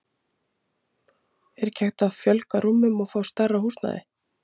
Er ekki hægt að fjölga rúmum og fá stærra húsnæði?